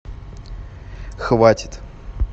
хватит